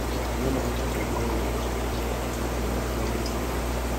no mahote kũigua wiki na matiganĩirio.